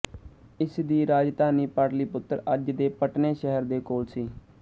ਇਸ ਦੀ ਰਾਜਧਾਨੀ ਪਾਟਲੀਪੁਤਰ ਅੱਜ ਦੇ ਪਟਨੇ ਸ਼ਹਿਰ ਦੇ ਕੋਲ ਸੀ